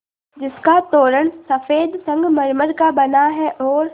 जिसका तोरण सफ़ेद संगमरमर का बना है और